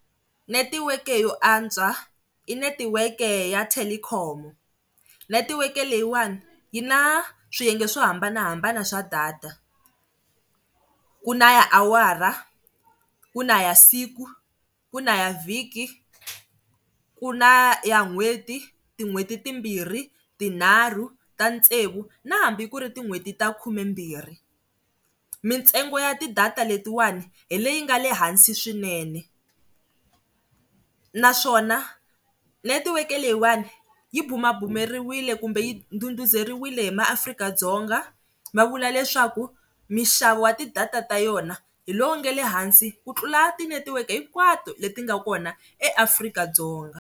Netiweke yo antswa i netiweke ya telkom netiweke leyiwani yi na swiyenge swo hambanahambana swa data ku na ya awara ku na ya siku, ku na ya vhiki ku na ya n'hweti tin'hweti timbirhi, tinharhu ta tsevu na hambi ku ri tin'hweti ta khumembirhi mintsengo ya ti data letiwani hi leyi nga le hansi swinene naswona netiweke leyiwani yi bumabumeriwile kumbe yi nduduzeriwile hi maAfrika-Dzonga va vula leswaku mixavo wa ti-data ta yona hi lowu nga le hansi ku tlula ti netiweke hinkwato leti nga kona eAfrika-Dzonga.